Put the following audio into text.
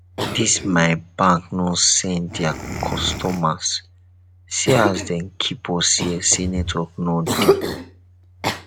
dis my bank no send there customers see as dem keep us here sey network no dey